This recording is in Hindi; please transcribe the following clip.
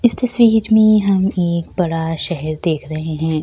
इस तस्वीर में हम एक बड़ा शहर देख रहे हैं।